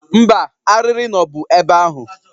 Mba, arịrị nọbu ebe ahụ